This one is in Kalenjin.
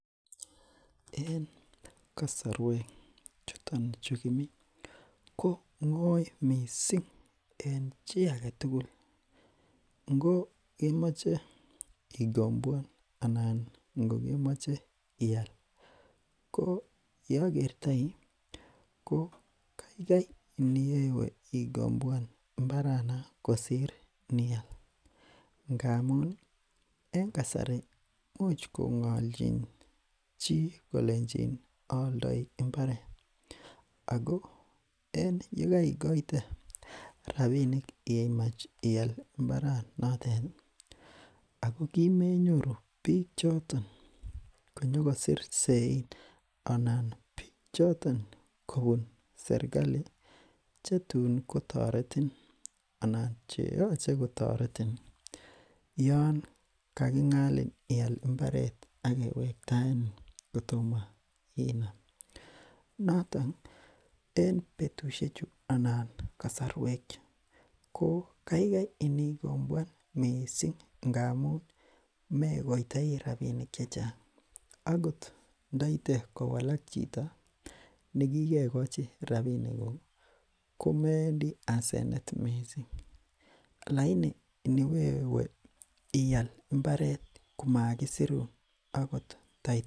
en kasorwek chuton chu kimi ko ngoi mising en chi agetugul ngo imoche ikombwan ana kemoche ial oleokertoi ko kaikai iniwe ikomboan mbaranon kosir nial ngamuni en kasari imuch kongolchin chi kole aaldoi mbaret ako yekoikoite rapinik imach ial mbaranateti ako kemenyoru biik choton konyokosir sein anan biik choton kobun serkali chetun kotoretin anan cheyoche kotoretin yoon kakingalin ial mbaret akewektaenin kotomo inam notoni en betushechu anan kasorwek kokaikai inikomboan mising ngamun mekoitoi rapinik chechang akot ndoite kowalak chito nekikekochi rapinikuk komewendi asenet mising lagini iniwewe ial mbaret komakisirun akot tai